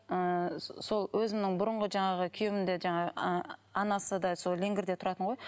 ыыы сол өзімнің бұрынғы жаңағы күйеуім де жаңағы ы анасы да сол леңгерде тұратын ғой